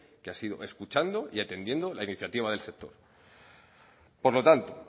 que ha sido escuchando y atendiendo la iniciativa del sector por lo tanto